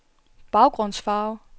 baggrundsfarve